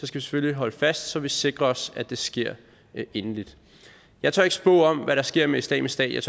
selvfølgelig holde fast så vi sikrer os at det sker endeligt jeg tør ikke spå om hvad der sker med islamisk stat jeg